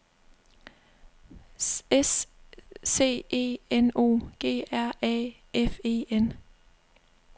S C E N O G R A F E N